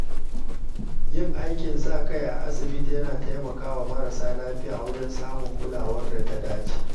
Yin aikin sa-kai a asibiti yana taimakawa marasa lafiya wajen samun kulawar da ta dace.